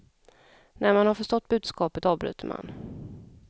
När man har förstått budskapet avbryter man.